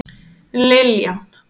Liljan